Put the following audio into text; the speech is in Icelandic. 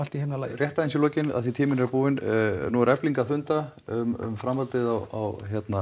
í himnalagi rétt aðeins í lokin því tíminn er búinn nú er Efling að funda um framhaldið á